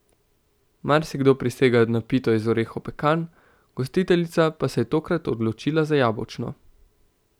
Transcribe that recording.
Marsikdo prisega na pito iz orehov pekan, gostiteljica pa se je tokrat odločila za jabolčno.